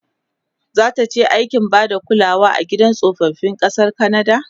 zataje aikin Bada kulawa a gidan tsofaffi ƙasar kanada?